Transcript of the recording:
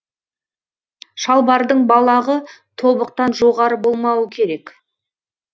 шалбардың балағы тобықтан жоғары болмауы керек